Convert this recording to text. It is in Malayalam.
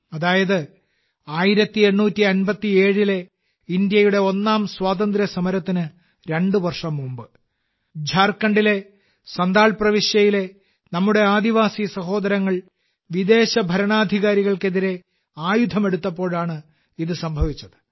അതായത് 1857 ലെ ഭാരതത്തിന്റെ ഒന്നാം സ്വാതന്ത്ര്യ സമരത്തിന് രണ്ട് വർഷം മുമ്പ് ഝാർഖണ്ഡിലെ സൻഥാൽ പ്രവിശ്യയിലെ നമ്മുടെ ആദിവാസി സഹോദരങ്ങൾ വിദേശ ഭരണാധികാരികൾക്കെതിരെ ആയുധമെടുത്തപ്പോഴാണ് ഇത് സംഭവിച്ചത്